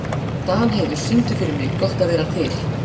Danheiður, syngdu fyrir mig „Gott að vera til“.